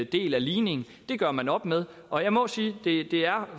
del af ligningen det gør man op med og jeg må sige at det